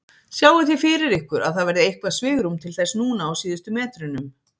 Sjáið þið fyrir ykkur að það verði eitthvað svigrúm til þess núna á síðustu metrunum?